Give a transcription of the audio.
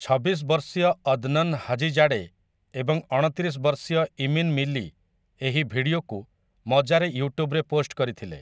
ଛବିଶ ବର୍ଷୀୟ Adnan Hajizade ଏବଂଅଣତିରିଶ ବର୍ଷୀୟ ଇମିନ୍ ମିଲି ଏହି ଭିଡିଓକୁ ମଜାରେ ୟୁଟ୍ୟୁବ୍‌ରେ ପୋଷ୍ଟ କରିଥିଲେ ।